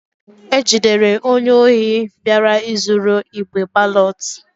E jidere onye ohi bịara izuru igbe balọt.